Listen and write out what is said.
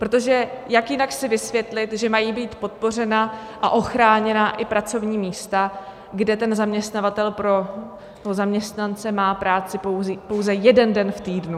Protože jak jinak si vysvětlit, že mají být podpořena a ochráněna i pracovní místa, kde ten zaměstnavatel pro zaměstnance má práci pouze jeden den v týdnu?